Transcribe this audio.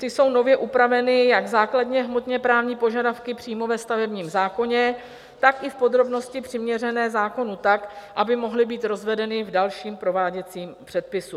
Tak jsou nově upraveny jak základně hmotně právní požadavky přímo ve stavebním zákoně, tak i v podrobnosti přiměřené zákonu tak, aby mohly být rozvedeny v dalším prováděcím předpisu.